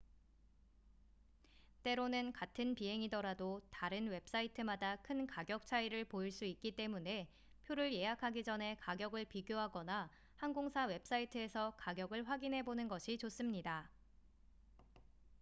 때로는 같은 비행이더라도 다른 웹사이트마다 큰 가격 차이를 보일 수 있기 때문에 표를 예약하기 전에 가격을 비교하거나 항공사 웹사이트에서 가격을 확인해 보는 것이 좋습니다